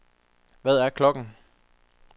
Hvad er klokken